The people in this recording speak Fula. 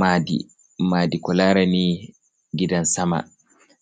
Madi, madi ko larani gidan sama.